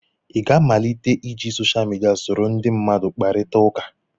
ị ga-amalite iji social media soro ndị mmadụ kparịta ụka